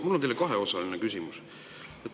Mul on teile kaheosaline küsimus.